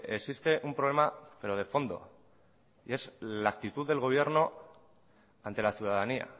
existe un problema pero de fondo y es la actitud del gobierno ante la ciudadanía